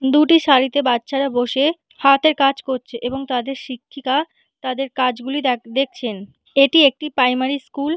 দুটি সারিতে বাচ্চারা বসে হাতের কাজ করছে এবং তাদের শিক্ষিকা তাদের কাজগুলি দেখ দেখছেন। এটি একটি প্রাইমারি স্কুল ।